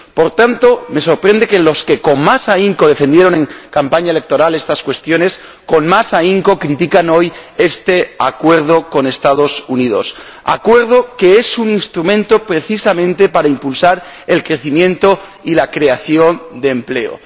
Por tanto, me sorprende que los que con más ahínco defendieron en campaña electoral estas cuestiones, con más ahínco critican hoy este Acuerdo con los Estados Unidos, que es precisamente un instrumento para impulsar el crecimiento y la creación de empleo.